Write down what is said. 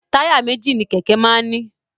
Táyà méjì ni kẹ̀kẹ́ máa ń ní.